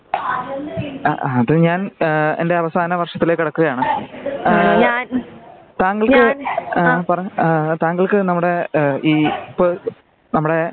അ ആ അത് ഞാൻ ആ എന്റെ അവസാന വർഷത്തിലേക്ക് കടക്കുകയാണ്. ആ താങ്കൾക്ക് ആ പറഞ്ഞോ നമ്മുടെ ഈ ഇപ്പൊ